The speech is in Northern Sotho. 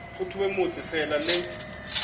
go thewe motse fela le